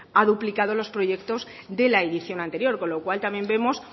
ha duplicado los proyectos de la edición anterior con lo cual también vemos